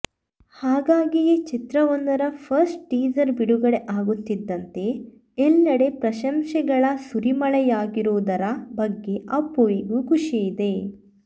ಹಾಗಾಗಿಯೇ ಚಿತ್ರವೊಂದರ first teaser ಬಿಡುಗಡೆ ಆಗುತ್ತಿದ್ದಂತೆ ಎಲ್ಲಡೆ ಪ್ರಶಂಸೆಗಳ ಸುರಿಮಳೆಯಾಗಿರುವುದರ ಬಗ್ಗೆ ಅಪ್ಪು ವಿಗೂ ಖುಷಿಯಿದೆ